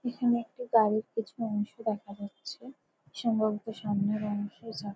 এখানে একটা গাড়ির কিছু অংশ দেখা যাচ্ছে । সম্ভবত সামনের অংশে চা--